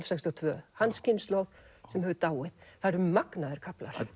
sextíu og tvö hans kynslóð sem hefur dáið það eru magnaðir kaflar